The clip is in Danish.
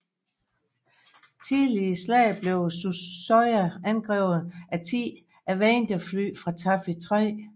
Tidligt i slaget blev Suzuya angrebet af 10 Avengerfly fra Taffy 3